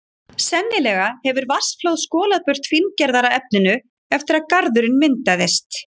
Sennilega hefur vatnsflóð skolað burt fíngerðara efninu eftir að garðurinn myndaðist.